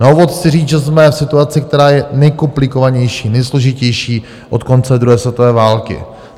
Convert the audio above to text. Na úvod chci říct, že jsme v situaci, která je nejkomplikovanější, nejsložitější od konce druhé světové války.